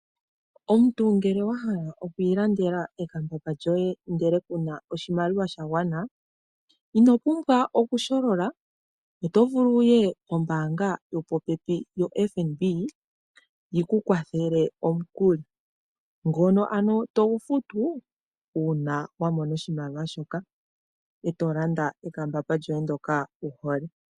Omuntu ngele wa hala okwiilandela ekambamba lyoye ndele kuna oshimaliwa sha gwana, ino pumbwa okusholola, oto vulu wuye kombaanga yopopepi yoFNB yiku kwathele omukuli ngono ano togu futu uuna wamona oshimaliwa shoka e to landa ekambamba lyoye ndjoka wuhole.